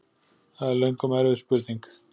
Það er löngum erfið spurning!